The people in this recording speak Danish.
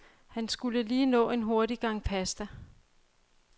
Han skulle lige nå en hurtig gang pasta.